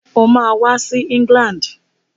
Ó máa wá sí England.